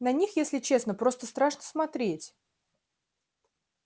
на них если честно просто страшно смотреть